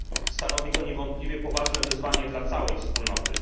Stanowi to niewątpliwie poważne wyzwanie dla całej Wspólnoty.